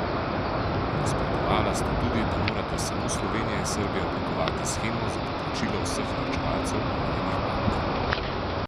Nasprotovala sta tudi, da morata samo Slovenija in Srbija oblikovati shemo za poplačilo vseh varčevalcev omenjenih bank.